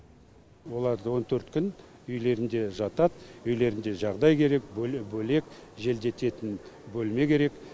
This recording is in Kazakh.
оларды он төрт күн үйлерінде жатады үйлерінде жағдай керек бөлек бөлек желдететін бөлме керек